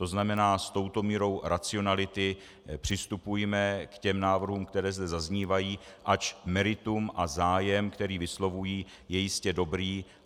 To znamená, s touto mírou racionality přistupujme k těm návrhům, které zde zaznívají, ač meritum a zájem, které vyslovují, je jistě dobrý.